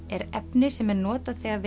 er efni sem er notað þegar